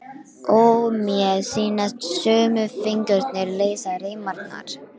Og mér sýnast sömu fingurnir leysa reimarnar.